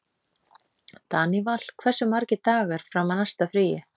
Daníval, hversu margir dagar fram að næsta fríi?